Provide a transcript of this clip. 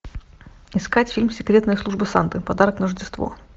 искать фильм секретная служба санты подарок на рождество